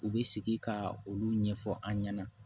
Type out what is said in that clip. U bɛ sigi ka olu ɲɛfɔ an ɲɛna